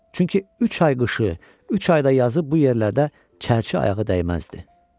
Çünki üç ay qışı, üç ayda yazıb bu yerlərdə çərçi ayağı dəyməzdi.